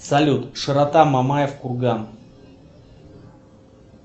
салют широта мамаев курган